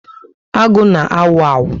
Agụ na awu awu